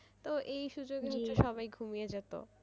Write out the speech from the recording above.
তো এই সুযোগে হচ্ছে সবাই ঘুমিয়ে যেত।